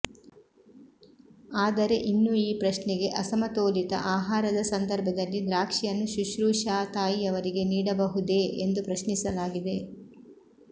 ಆದರೆ ಇನ್ನೂ ಈ ಪ್ರಶ್ನೆಗೆ ಅಸಮತೋಲಿತ ಆಹಾರದ ಸಂದರ್ಭದಲ್ಲಿ ದ್ರಾಕ್ಷಿಯನ್ನು ಶುಶ್ರೂಷಾ ತಾಯಿಯವರಿಗೆ ನೀಡಬಹುದೇ ಎಂದು ಪ್ರಶ್ನಿಸಲಾಗಿದೆ